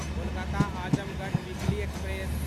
Kolkata Azamgarh weekly express